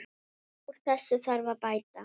Úr þessu þarf að bæta!